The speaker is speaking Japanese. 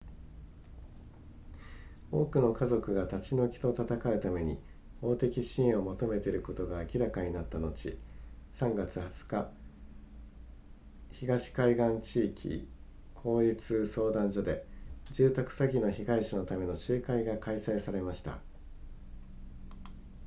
多くの家族が立ち退きと戦うために法的支援を求めていることが明らかになった後3月20日東海岸地域法律相談所で住宅詐欺の被害者のための集会が開催されました